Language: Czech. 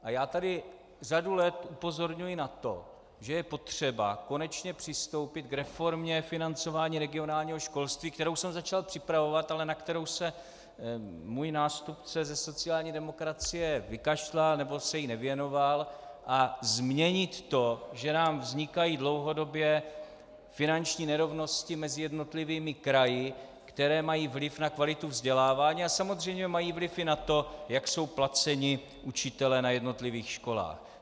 A já tady řadu let upozorňuji na to, že je potřeba konečně přistoupit k reformě financování regionálního školství, kterou jsem začal připravovat, ale na kterou se můj nástupce ze sociální demokracie vykašlal, nebo se jí nevěnoval, a změnit to, že nám vznikají dlouhodobě finanční nerovnosti mezi jednotlivými kraji, které mají vliv na kvalitu vzdělávání a samozřejmě mají vliv i na to, jak jsou placeni učitelé na jednotlivých školách.